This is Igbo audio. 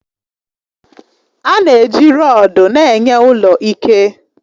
A na-eji rọdu na-enye ụlọ ike